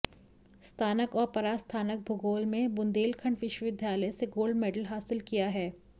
स्नातक और परास्नातक भूगोल में बुंदेलखंड विश्वविद्यालय से गोल्ड मेडल हासिल किया है